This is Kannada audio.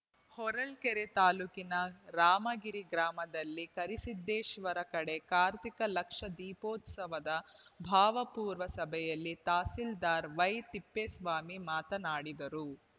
ಹೊರ್ಳ್ಕೆರೆ ತಾಲೂಕಿನ ರಾಮಗಿರಿ ಗ್ರಾಮದಲ್ಲಿ ಕರಿಸಿದ್ದೇಶ್ವರ ಕಡೇ ಕಾರ್ತಿಕ ಲಕ್ಷ ದೀಪೋತ್ಸವದ ಪೂರ್ವಭಾವಿ ಸಭೆಯಲ್ಲಿ ತಹಸೀಲ್ದಾರ್‌ ವೈತಿಪ್ಪೇಸ್ವಾಮಿ ಮಾತನಾಡಿದರು